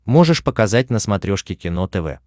можешь показать на смотрешке кино тв